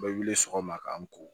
U bɛ wuli sɔgɔma k'an ko